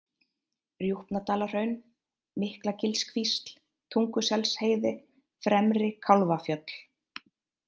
Rjúpnadalahraun, Miklagilskvísl, Tunguselsheiði, Fremri-Kálfafjöll